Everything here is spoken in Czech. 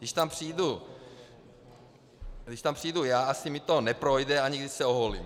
Když tam přijdu já, asi mi to neprojde, ani když se oholím.